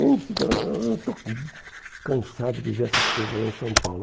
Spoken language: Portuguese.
Estou cansado de ver essas coisas lá em São Paulo.